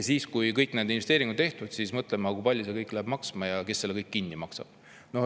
Kui kõik need investeeringud on tehtud, siis hakkame mõtlema, kui palju see kõik maksma läheb ja kes selle kõik kinni maksab.